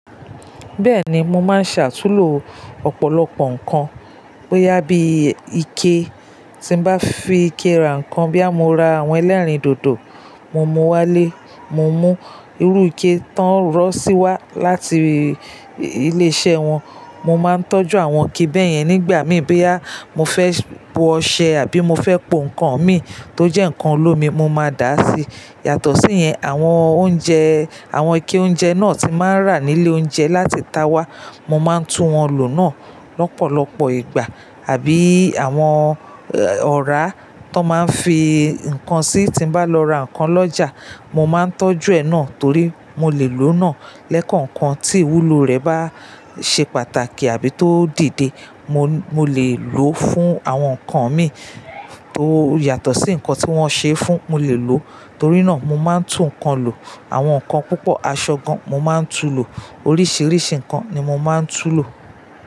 Bẹ́ẹ̀ni, mo máa ń ṣ'àtúnlò ọ̀pọ̀lọpọ̀ nǹkan bóyá bí ike. Tí mbá fi ike ra nǹkan bóyá mo ra àwọn ẹlẹ́rìndòdò, mo mú wá lé, mo mú, irú ike tó ń rọ́ sí wá láti ilé iṣẹ́ wọn. Mo máa ń tọ́jú àwọn ike bẹ́ẹ̀ yẹn nígbà mìíràn bóyá mo fẹ́ po ọṣẹ àbí mo fẹ́ po nǹkan mi tó jẹ́ nǹkan olómi, mo máa dá síi. Yàtọ̀ sí ìyẹn, àwọn oúnjẹ, àwọn ike oúnjẹ náà tí n máa ń rà nílé oúnjẹ láti ìta wá. Mo máa ń tún wọn lò náà lọ́pọ̀lọpọ̀ ìgbà àbí àwọn ọ̀rá tó máa ń fi nǹkan sí tí mbá lọ ra nǹkan lọ́jà, mo máa ń tọ́jú ẹ náà torí mo lè lò náà lẹ́kọ̀ọ̀kan tí ìwúlò rẹ̀ bá ṣe pàtàkì àbí tó dìde. Mo, mo lè lò fún àwọn nǹkan mi tó yàtọ̀ sí nǹkan tí wọ́n ṣe fún, mo lè lò. Torí náà mo máa ń tún nǹkan lò. Àwọn nǹkan púpọ̀ aṣọ gan, mo máa ń tún lò. Oríṣiríṣi nǹkan ni mo máa ń tún lò.